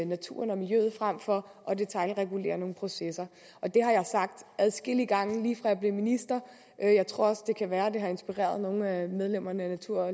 naturen og miljøet frem for at detailregulere nogle processer og det har jeg sagt adskillige gange lige fra jeg blev minister jeg tror også det kan være at det har inspireret nogle af medlemmerne af natur